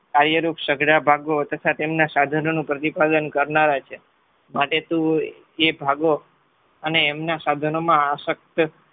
કાર્યરૂપ સઘળા ભાગો તથા તેમના સાધનોનું પ્રતિપાદન કરનારા છે. માટે તું એ ભાગો અને એમના સાધનોમાં આશક્ત